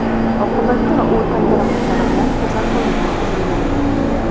Oqibatda u tan jarohatlari bilan kasalxonaga yotqizilgan.